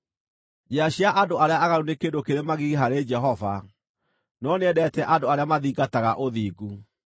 Njĩra cia andũ arĩa aaganu nĩ kĩndũ kĩrĩ magigi harĩ Jehova, no nĩendete andũ arĩa mathingataga ũthingu.